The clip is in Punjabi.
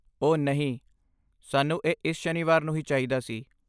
ਓਹ ਨਹੀਂ, ਸਾਨੂੰ ਇਹ ਇਸ ਸ਼ਨੀਵਾਰ ਨੂੰ ਹੀ ਚਾਹੀਦਾ ਸੀ।